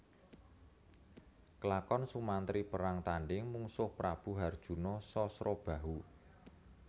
Klakon Sumantri perang tandhing mungsuh Prabu harjuna Sasrabahu